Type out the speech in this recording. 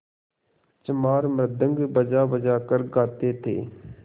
चमार मृदंग बजाबजा कर गाते थे